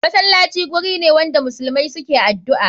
Masalaci gurine wanda muslmai suke adu'a.